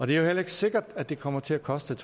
det er jo heller ikke sikkert at det kommer til at koste